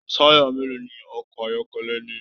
Taya mélòó ní ọkọ ayọkẹlẹ ní?